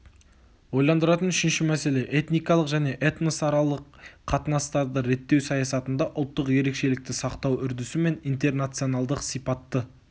ойландыратын үшінші мәселе этникалық және этносаралық қатынастарды реттеу саясатында ұлттық ерекшелікті сақтау үрдісі мен интернационалдық сипатты